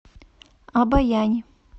обоянь